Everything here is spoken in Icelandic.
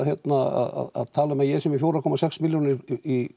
að tala um að ég sé með fjóra komma sex milljónir í